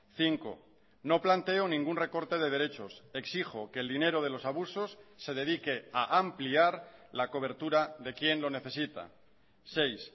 cinco no planteo ningún recorte de derechos exijo que el dinero de los abusos se dedique a ampliar la cobertura de quien lo necesita seis